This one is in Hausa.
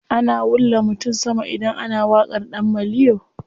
Ana wulla mutum sama idan ana waƙar ɗan maliyo.